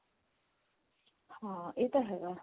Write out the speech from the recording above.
ਹਾਂ ਇਹ ਤਾਂ ਹੈਗਾ